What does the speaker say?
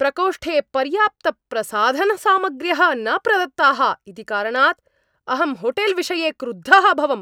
प्रकोष्ठे पर्याप्तप्रसाधनसामग्र्यः न प्रदत्ताः इति कारणात् अहं होटेल्विषये क्रुद्धः अभवम्।